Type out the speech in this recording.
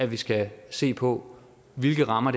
vi skal se på hvilke rammer